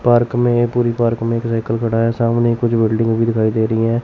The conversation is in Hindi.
पार्क में पूरी पार्क में एक व्हीकल खड़ा है सामने कुछ बिल्डिंग भी दिखाई दे रही हैं।